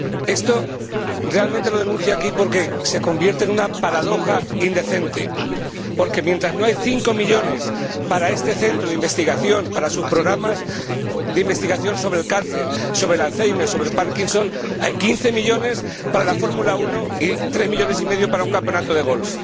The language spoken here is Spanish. Esto lo denuncio aquí porque se convierte en una paradoja indecente, porque mientras no hay cinco millones para este centro de investigación, para sus programas de investigación sobre el cáncer, sobre el alzhéimer, sobre el párkinson, hay quince millones para la Fórmula 1 y tres millones y medio para un campeonato de golf.